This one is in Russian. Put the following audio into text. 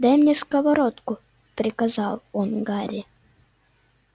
дай мне сковородку приказал он гарри